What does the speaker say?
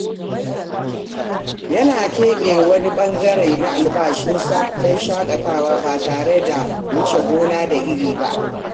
Yana keɓe wani ɓangare na albashinsa don shakatawa ba tare da wuce gona da iri ba.